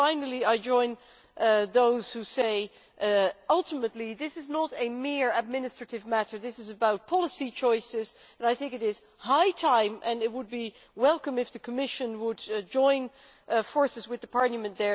Finally, I join those who say ultimately this is not a mere administrative matter, this is about policy choices and I think it is high time and it would be welcome if the Commission would join forces with Parliament.